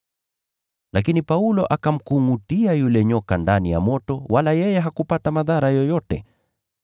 Lakini Paulo akamkungʼutia yule nyoka ndani ya moto wala yeye hakupata madhara yoyote.